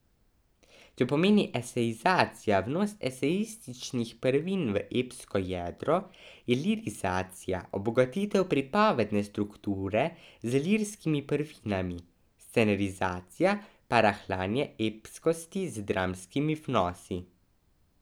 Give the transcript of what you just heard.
Če pomeni esejizacija vnos esejističnih prvin v epsko jedro, je lirizacija obogatitev pripovedne strukture z lirskimi prvinami, scenarizacija pa rahljanje epskosti z dramskimi vnosi.